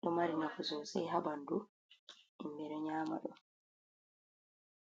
ɗo mari nafu sosai ha ɓandu himɓe ɗo nyama ɗum.